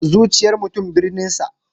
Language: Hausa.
Zuciyar mutum birninsa.